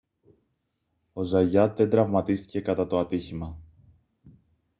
ο ζαγιάτ δεν τραυματίστηκε κατά το ατύχημα